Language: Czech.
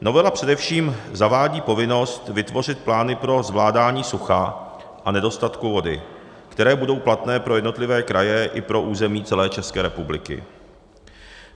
Novela především zavádí povinnost vytvořit plány pro zvládání sucha a nedostatku vody, které budou platné pro jednotlivé kraje i pro území celé České republiky.